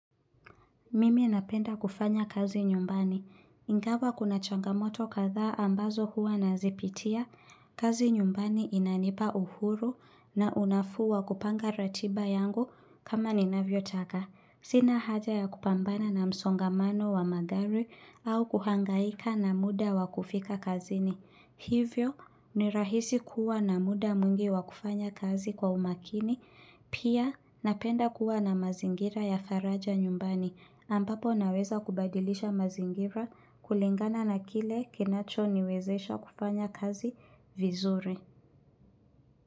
Mimi napenda kufanya kazi nyumbani. Ingawa kuna changamoto kadhaa ambazo huwa nazipitia. Kazi nyumbani inanipa uhuru na unafuu wa kupanga ratiba yangu kama ninavyotaka. Sina haja ya kupambana na msongamano wa magari au kuhangaika na muda wa kufika kazini. Hivyo ni rahisi kuwa na muda mwingi wa kufanya kazi kwa umakini. Pia napenda kuwa na mazingira ya faraja nyumbani ambapo naweza kubadilisha mazingira kulingana na kile kinacho niwezesha kufanya kazi vizuri.